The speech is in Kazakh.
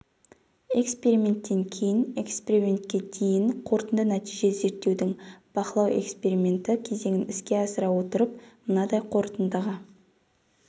эксеперименттен кейін экспериментке дейін қорытынды нәтиже зерттеудің бақылау эксперименті кезеңін іске асыра отырып мынадай қорытындыға